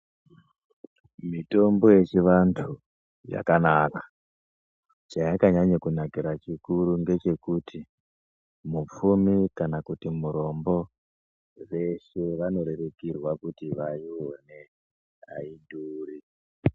Mitombo yechivantu yakanaka chayakanyanya kunakira chikuru ngechekuti mupfumi kana kuti murombo vanorerukirwa kuti vese vaione aidhuri.